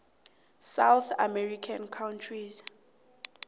south american countries